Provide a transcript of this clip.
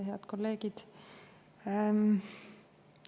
Head kolleegid!